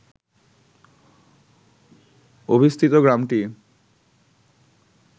অবস্থিত গ্রামটি